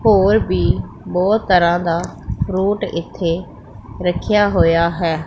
ਹੋਰ ਵੀ ਬਹੁਤ ਤਰ੍ਹਾਂ ਦਾ ਫਰੂਟ ਇਥੇ ਰੱਖਿਆ ਹੋਇਆ ਹੈ।